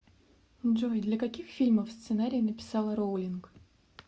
джой для каких фильмов сценарии написала роулинг